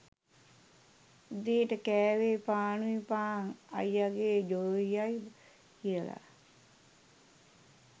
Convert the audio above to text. උදේට කෑවේ පානුයි පාන් අයියගේ ජොයියයි කියලා